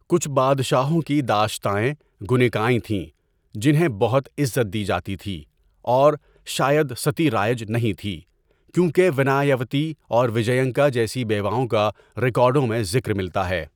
کچھ بادشاہوں کی داشتائیں گنیکائیں تھیں جنہیں بہت عزت دی جاتی تھی، اور شاید ستی رائج نہیں تھی کیونکہ ونایاوتی اور وجینکا جیسی بیواؤں کا ریکارڈوں میں ذکر ملتا ہے.